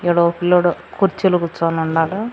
ఈడ ఓ పిల్లోడు కుర్చీలో కుచోనుండాడు.